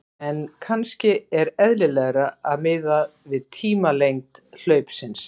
En kannski er eðlilegra að miða við tímalengd hlaupsins.